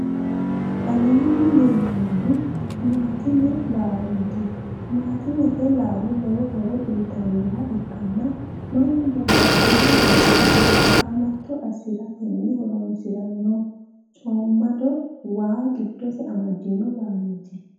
aleenni leellanohu timatimete laaloti. timatimete laalo lowo horo uyitannoha ikkanni mannu babbaxino loosira qaamatto assiratenni horoonsiranno coomado waa giddose amadino laloti.